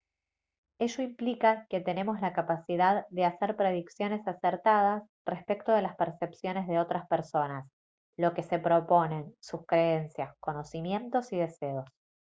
ello implica que tenemos la capacidad de hacer predicciones acertadas respecto de las percepciones de otras personas lo que se proponen sus creencias conocimientos y deseos